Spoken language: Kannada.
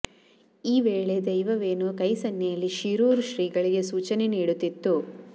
ಈ ವೇಳೆ ದೈವವೇನೋ ಕೈ ಸನ್ನೆಯಲ್ಲಿ ಶಿರೂರು ಶ್ರೀಗಳಿಗೆ ಸೂಚನೆ ನೀಡುತ್ತಿತ್ತು